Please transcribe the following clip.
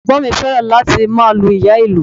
Ẹ̀gbọ́n mi fẹ́ràn láti máa lu ìyá-ìlù